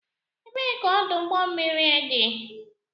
Ebee ka ọdụ ụgbọ mmiri dị?